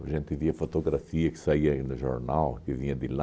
A gente via fotografia que saía aí no jornal, que vinha de lá.